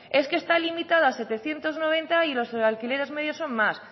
es que está limitado a setecientos noventa y los alquileres medios son más